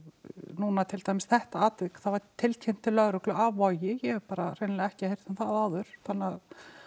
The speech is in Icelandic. núna þetta atvik það var tilkynnt til lögreglu af Vogi ég hef bara hreinlega ekki heyrt um það áður þannig